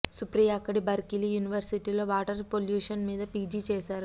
సుప్రియ అక్కడ బర్కిలీ యూనివర్సిటీలో water pollution మీద పీజీ చేశారు